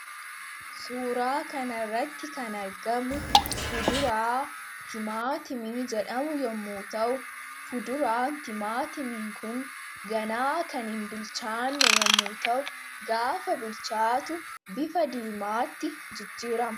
Suuraa kana irratti kan argamu, fuduraa timaatimii jedhamu yemmuu ta'u, fuduraan timaatimii Kun ganaa kan hin bilchaanne yemmuu ta'u, gaafa bilchaatu bifa diimaatti jijjiirama.